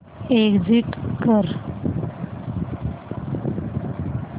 exit कर